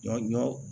Ɲɔ